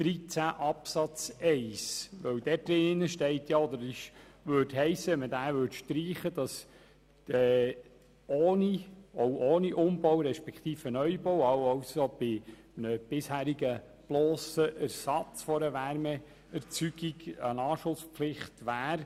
13 Absatz 1. Würde er gestrichen, würde das bedeuten, dass auch ohne Umbau respektive Neubau, also beim blossen Ersatz einer Wärmeerzeugung, eine Anschlusspflicht besteht.